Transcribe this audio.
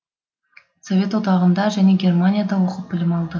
совет одағында және германияда оқып білім алды